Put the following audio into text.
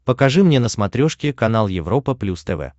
покажи мне на смотрешке канал европа плюс тв